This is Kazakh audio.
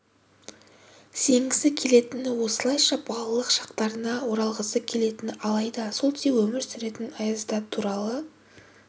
сенгісі келетіні осылайша балалық шақтарына оралғысы келетіні алайда солтүстік полюсте өмір сүретін аяз ата туралы